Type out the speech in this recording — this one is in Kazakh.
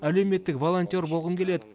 әлеуметтік волонтер болғым келеді